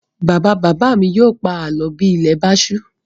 Bàbá-bàbá mi yóò pa àlọ́ bí ilẹ̀ bá ṣú.